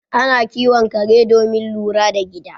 Ana kiwon kare domin lura da gida